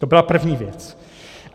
To byla první věc.